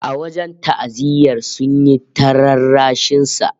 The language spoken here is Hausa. A wajen ta'aziyyar, sun yi ta rarrashin sa